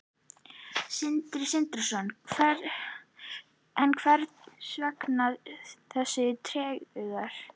Sindri Sindrason: En hvers vegna þessi tregða?